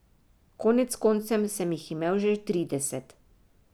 Konec koncev sem jih imel že trideset.